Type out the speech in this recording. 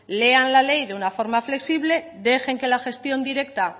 léanla la ley de una forma flexible dejen que la gestión directa